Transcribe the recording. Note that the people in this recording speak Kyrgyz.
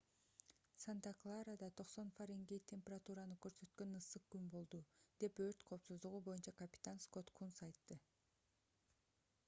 санта-кларада 90 фаренгейт температураны көрсөткөн ысык күн болду - деп өрт коопсуздугу боюнча капитан скотт кунс айтты